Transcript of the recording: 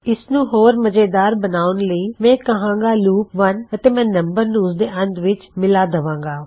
ਇਸਨੂੰ ਹੋਰ ਮਜੇਦਾਰ ਬਣਾਉਣ ਲਈ ਮੈਂ ਕਹਾਂਗਾ ਲੂਪ 1 ਅਤੇ ਮੈਂ ਨਮ ਨੂੰ ਉਸਦੇ ਅੰਤ ਵਿੱਚ ਮਿਲਾ ਦਵਾਂਗਾ